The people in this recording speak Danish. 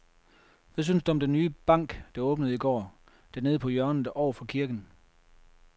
Hvad synes du om den nye bank, der åbnede i går dernede på hjørnet over for kirken?